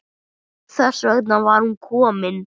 Þess vegna var hún komin.